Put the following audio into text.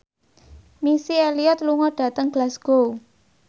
Missy Elliott lunga dhateng Glasgow